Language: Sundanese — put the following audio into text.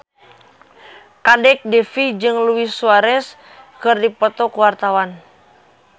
Kadek Devi jeung Luis Suarez keur dipoto ku wartawan